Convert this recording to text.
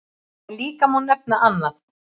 En líka má nefna annað.